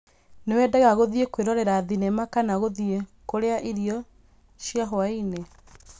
Nĩwendaga gũthiĩ kwĩrorera thenema kana gũthiĩ kuria irio cia hwaĩ-inĩ